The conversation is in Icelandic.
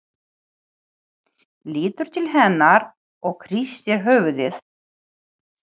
Lítur til hennar og hristir höfuðið.